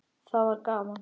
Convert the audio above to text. Það var gaman.